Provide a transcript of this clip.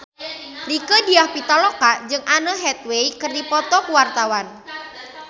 Rieke Diah Pitaloka jeung Anne Hathaway keur dipoto ku wartawan